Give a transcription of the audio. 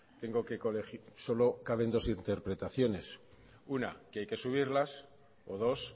tengo que colegir solo caben dos interpretaciones una que hay que subirlas o dos